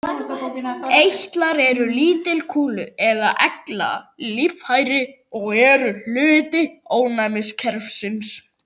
Eitlar eru lítil kúlu- eða egglaga líffæri og eru hluti ónæmiskerfisins.